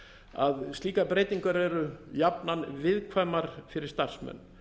að slíkar breytingar eru jafnan viðkvæmar fyrir starfsmenn